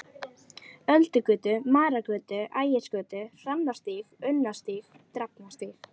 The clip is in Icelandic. Öldugötu, Marargötu, Ægisgötu, Hrannarstíg, Unnarstíg, Drafnarstíg.